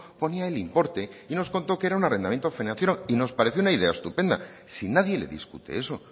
ponía el importe y nos contó que era un arrendamiento financiero y nos pareció una idea estupenda si nadie le discute eso